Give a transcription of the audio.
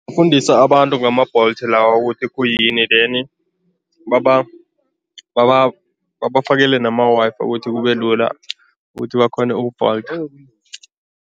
Kufundisa abantu ngama-Bolt lawa ukuthi khuyini then babafakele nama-Wi-Fi ukuthi kube lula ukuthi bakghone ukubholtha.